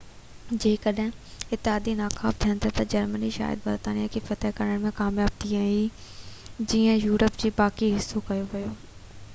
جيڪڏهن اتحادي ناڪام ٿين ها جرمني شايد برطانيا کي فتح ڪرڻ ۾ ڪامياب ٿئي ها جئين يورپ جو باقي حصو ڪيو